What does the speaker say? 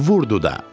Vurdu da.